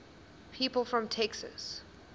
people from texas